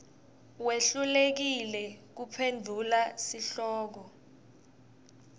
wehlulekile kuphendvula sihloko